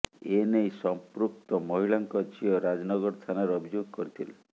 ଏନେଇ ସଂପୃକ୍ତ ମହିଳାଙ୍କ ଝିଅ ରାଜନଗର ଥାନାରେ ଅଭିଯୋଗ କରିଥିଲେ